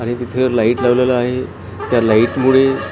आणि तिकडे लाइट लावलेला आहे त्या लाइट मुळे --